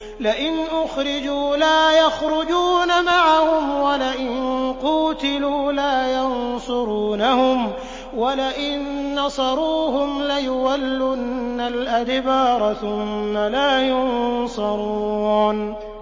لَئِنْ أُخْرِجُوا لَا يَخْرُجُونَ مَعَهُمْ وَلَئِن قُوتِلُوا لَا يَنصُرُونَهُمْ وَلَئِن نَّصَرُوهُمْ لَيُوَلُّنَّ الْأَدْبَارَ ثُمَّ لَا يُنصَرُونَ